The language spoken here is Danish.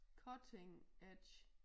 Cutting edge